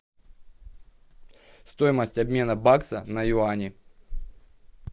стоимость обмена бакса на юани